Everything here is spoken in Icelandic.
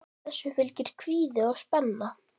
Þessu fylgir kvíði og spenna.